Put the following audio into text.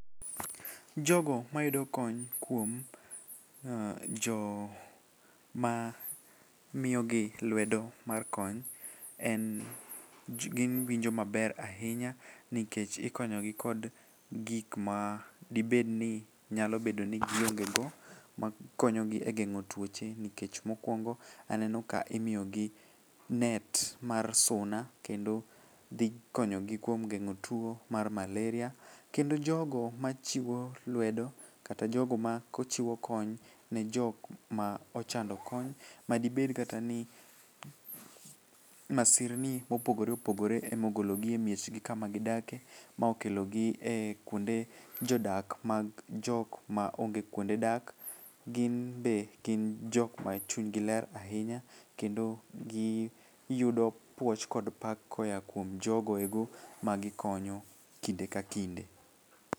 Jogo mayudo kony kuom joma miyogi luedo mar kony giwinjo maber ahinya, nikech ikonyogi kod gik ma dibed ni nyalo bedo ni giongego makonyogi e geng'o twoche nikech mokwongo aneno ka imiyogi net mar suna kendo dhi konyogi kuom geng'o tuo mar malaria. Kendo jogo machiwo luedo ,kata jogo machiwo kony ne jok ma ochando kony madibed kata ni masirni mopogoreopogore ema ogologi e miechgi kama gidake ma okelogi e kwonde jodak mag jok maonge kwonde dak ,ginbe gin jok ma chunygi ler ahinya kendo giyudo puoch kod pak koya kuom jogo eko ma gikonyo kinde ka kinde.